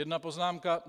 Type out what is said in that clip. Jedna poznámka.